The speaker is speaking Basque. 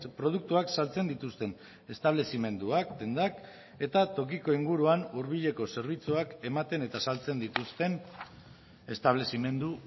produktuak saltzen dituzten establezimenduak dendak eta tokiko inguruan hurbileko zerbitzuak ematen eta saltzen dituzten establezimendu